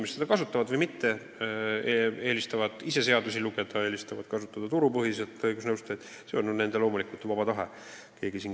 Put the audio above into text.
Kas nad seda kasutavad või mitte, kas nad eelistavad ise seadusi lugeda, eelistavad kasutada turul tegutsevaid õigusnõustajaid, see on loomulikult nende vaba otsus.